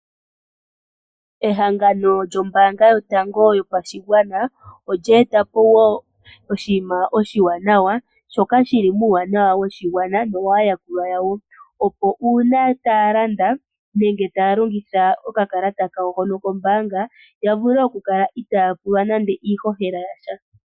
Ehangangano lyombaanga yotango yopashigwana oyeetapo oyeetapo okakalata kokunana oshowoo haka longithwa moositola uuna aantu taya landa. Uuna aantu taya landa taya longitha okakalata haka, shika ohashi loteke uumbudhi moshilongo molwaashoka iho ende wahumbata ondumba yiimaliwa pondjato.